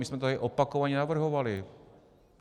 My jsme to tady opakovaně navrhovali.